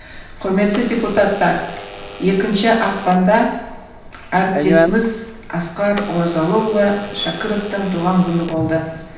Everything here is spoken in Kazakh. құрметті депутаттар екінші ақпанда әріптесіміз асқар оразалыұлы шәкіровтің туған күні болды